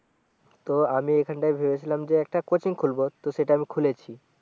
তো আমি এখানটায় ভেবেছিলাম যে একটা কোচিং খুলব তো সেটা আমি খুলেছি